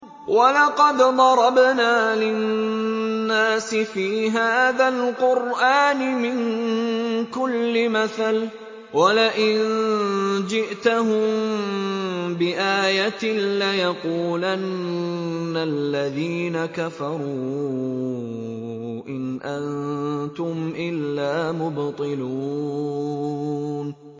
وَلَقَدْ ضَرَبْنَا لِلنَّاسِ فِي هَٰذَا الْقُرْآنِ مِن كُلِّ مَثَلٍ ۚ وَلَئِن جِئْتَهُم بِآيَةٍ لَّيَقُولَنَّ الَّذِينَ كَفَرُوا إِنْ أَنتُمْ إِلَّا مُبْطِلُونَ